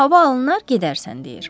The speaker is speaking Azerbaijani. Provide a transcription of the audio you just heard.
Hava alınar, gedərsən, deyir.